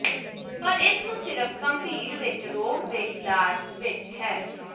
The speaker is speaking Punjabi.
ਪਰ ਇਸ ਨੂੰ ਸਿਰਫ ਗੰਭੀਰ ਵਿੱਚ ਰੋਗ ਦੇ ਇਲਾਜ ਵਿਚ ਹੈ